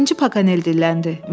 Birinci Pakonel dilləndi.